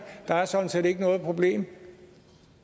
der sådan set ikke er noget problem